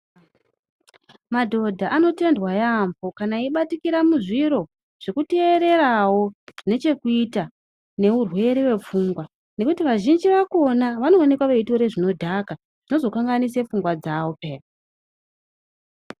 Madhodha anotendwa yaampho kana eibatikira muzviro zvekuteererawo zvine chekuita neurwere wepfungwa, nekuti vazhinji vakona ,vanoonekwa veitore zvinodhaka zvinozokanganise pfungwa dzavo pheya.